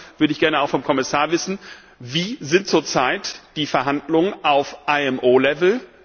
Darum würde ich gerne auch vom Kommissar wissen Wie sind zur Zeit die Verhandlungen auf IMO Ebene?